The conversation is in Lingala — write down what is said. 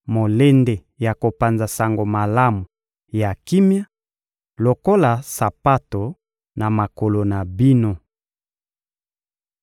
molende ya kopanza Sango Malamu ya kimia lokola sapato na makolo na bino.